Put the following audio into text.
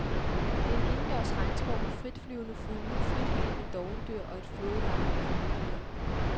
Det er en indendørs regnskov med fritflyvende fugle, frithængende dovendyr og et flodleje med krokodiller.